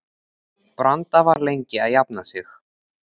Branda var lengi að jafna sig.